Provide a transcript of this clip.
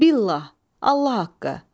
Billah, Allah haqqı.